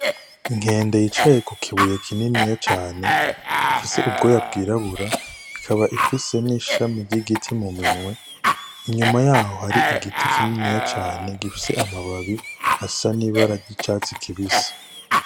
Inkende yicaye ku kibuye kininiya cane ifise ubwoya bwirabura ikaba ifise n' ishami ry' igiti mu minwe inyuma yaho hari igiti kininiya cane gifise amababi asa n' ibara ry' icatsi kibisi.